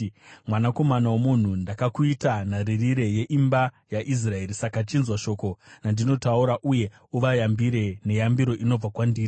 “Mwanakomana womunhu, ndakakuita nharirire yeimba yaIsraeri; saka chinzwa shoko randinotaura uye uvayambire neyambiro inobva kwandiri.